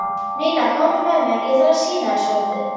Nína, komdu með mér, ég þarf að sýna þér svolítið.